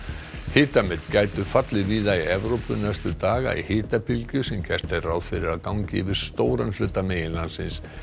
hitamet gætu fallið víða í Evrópu næstu daga í hitabylgju sem gert er ráð fyrir að gangi yfir stóran hluta meginlandsins